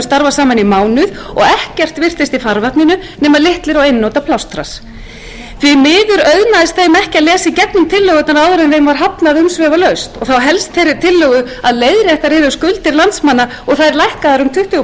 starfað saman í mánuð og ekkert virtist í farvatninu nema litlir og einnota plástrar því miður auðnaðist þeim ekki að lesa í gegnum tillögurnar áður en þeim var hafnað umsvifalaust og þá helst þeirri tillögu að leiðréttar yrðu skuldir landsmanna og þær lækkaðar um tuttugu